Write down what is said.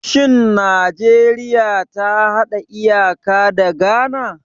Shin Najeriya ta hada iyaka da Ghana?